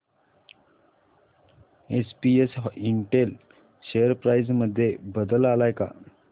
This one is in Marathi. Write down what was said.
एसपीएस इंटेल शेअर प्राइस मध्ये बदल आलाय का